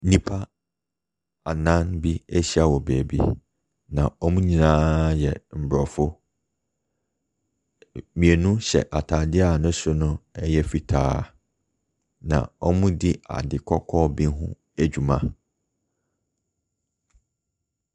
Nnipa anan bi ahyia wɔ beebi, na wɔn nyinaa yɛ aborɔfo. Mmienu hyɛ ataadeɛ a ne soro no yɛ fitaa, na wɔredi ade kɔkɔɔ bi ho adwuma.